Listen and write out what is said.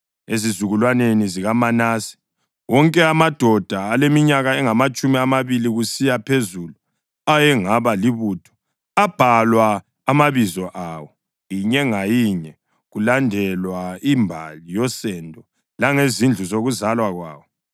Ezizukulwaneni zikaManase: Wonke amadoda aleminyaka engamatshumi amabili kusiya phezulu ayengaba libutho abhalwa amabizo awo, inye ngayinye, kulandelwa imbali yosendo langezindlu zokuzalwa kwawo.